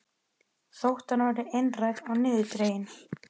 Þótt hann væri einrænn og niðurdreginn.